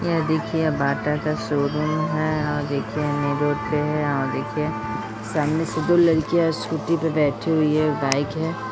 यह देखिए यह बाटा का शोरूम है अ देखिए रोड पे है अ देखिए सामने से दो लड़कियां स्कूटी पे बैठी हुई हैं बाइक है।